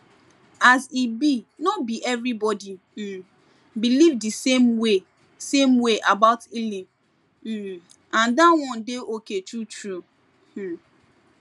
as e be no be everybody um believe the same way same way about healing um and that one dey okay true true um